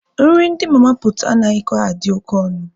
Nri ndị mama puutu anaghịkwa adị oke ọnụ